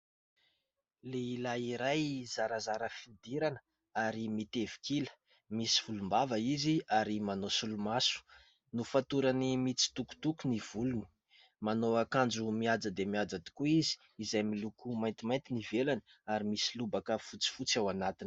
Lehilahy iray zarazara fihodirana ary mitevik'ila, misy volom-bava izy ary manao solomaso, nofatorany mitsitokotoko ny volony, manao akanjo mihaja dia mihaja tokoa izy izay miloko maintimainty ny ivelany ary misy lobaka fotsifotsy ao anatiny.